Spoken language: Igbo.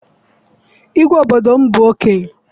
Igwe obodo m bụ okenye.